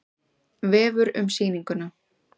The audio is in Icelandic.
Vefur um sýninguna